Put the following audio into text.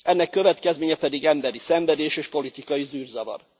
Ennek következménye pedig emberi szenvedés és politikai zűrzavar.